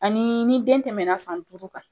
Ani ni den tɛmɛna san duuru kan